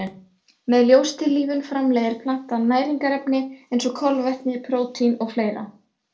Með ljóstillífun framleiðir plantan næringarefni eins og kolvetni, prótín og fleira.